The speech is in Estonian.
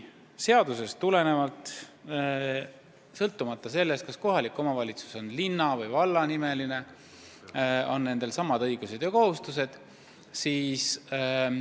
Seadusest tulenevalt on sõltumata sellest, kas kohalik omavalitsus on linn või vald, õigused ja kohustused samad.